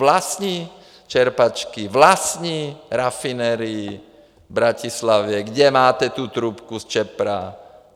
Vlastní čerpačky, vlastní rafinerii v Bratislavě, kde máte tu trubku z ČEPRO.